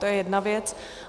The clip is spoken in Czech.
To je jedna věc.